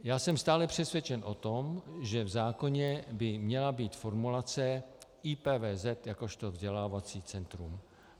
Já jsem stále přesvědčen o tom, že v zákoně by měla být formulace IPVZ jakožto vzdělávací centrum.